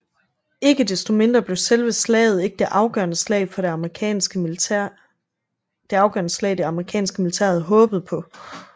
Ikke desto mindre blev selve slaget ikke det afgørende slag det amerikanske militær havde håbet på